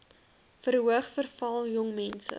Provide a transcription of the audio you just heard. verhoog veral jongmense